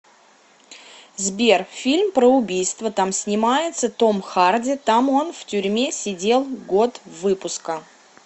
сбер фильм про убийства там снимается том харди там он в тюрьме сидел год выпуска